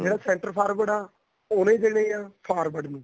ਜਿਹੜਾ center forward ਆ ਉਹਨੇ ਦੇਣੇ ਆ forward ਨੂੰ